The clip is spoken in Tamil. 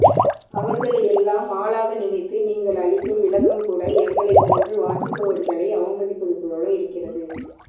அவர்களையெல்லாம் ஆளாக நினைத்து நீங்கள் அளிக்கும் விளக்கம்கூட எங்களைப்போன்று வாசிப்பவர்களை அவமதிப்பதுபோல இருக்கிறது